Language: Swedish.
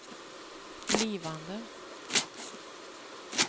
blivande